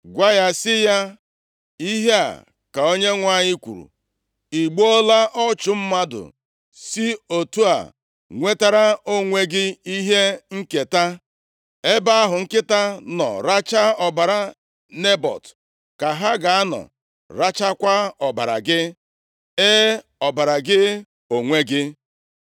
Gwa ya sị ya, ‘Ihe a ka Onyenwe anyị kwuru: I gbuola ọchụ mmadụ si otu a nwetara onwe gị ihe nketa? Ebe ahụ nkịta nọ rachaa ọbara Nebọt ka ha ga-anọ rachaakwa ọbara gị. E, ọbara gị onwe gị.’ ”